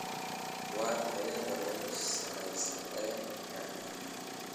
Waa tayada ugu sareysa ee dhagaxan